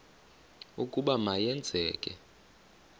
ukuba ma yenzeke